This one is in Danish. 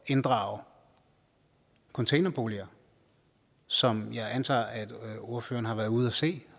inddrage containerboliger som jeg antager at ordføreren har været ude at se